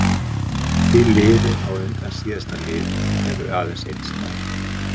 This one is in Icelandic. Því liðir á undan síðasta lið eru aðeins einn stafur.